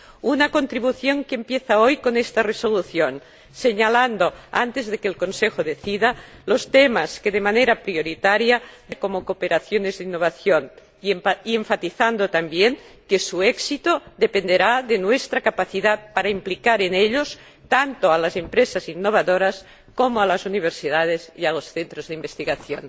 una contribución que empieza hoy con esta resolución, señalando, antes de que el Consejo decida, los temas que deben abordarse de manera prioritaria, como cooperaciones de innovación, y enfatizando también que su éxito dependerá de nuestra capacidad para implicar en ellos tanto a las empresas innovadoras como a las universidades y a los centros de investigación.